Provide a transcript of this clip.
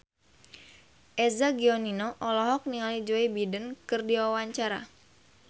Eza Gionino olohok ningali Joe Biden keur diwawancara